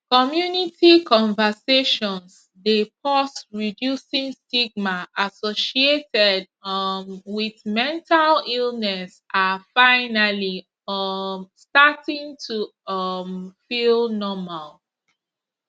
community conversations dey pause reducing stigma associated um wit mental illness are finally um starting to um feel normal